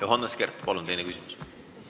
Johannes Kert, palun teine küsimus!